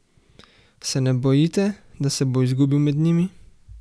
Se ne bojite, da se bo izgubil med njimi?